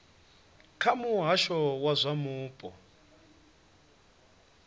kha muhasho wa zwa mupo